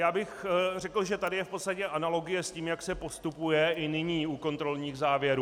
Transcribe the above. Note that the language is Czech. Já bych řekl, že tady je v podstatě analogie s tím, jak se postupuje i nyní u kontrolních závěrů.